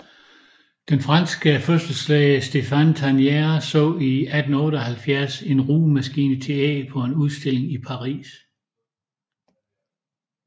Den franske fødselslæge Stephane Tarnier så i 1878 en rugemaskine til æg på en udstilling i Paris